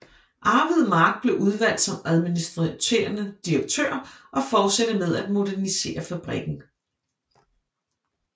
Arvid Mark blev udvalgt som administerende direktør og fortsatte med at modernisere fabrikken